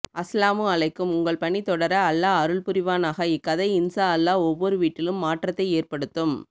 அஸ்ஸலாமு அலைக்கும் உங்கள் பணி தொடர அல்லாஹ் அருள் புரிவானாக இக்கதை இன்சா அல்லாஹ் ஒவ்வொரு வீட்டிலும் மாற்றத்தை ஏற்படுத்தும்